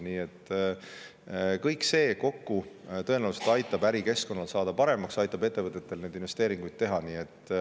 Nii et kõik see kokku tõenäoliselt aitab ärikeskkonnal paremaks saada ja ettevõtetel investeeringuid teha.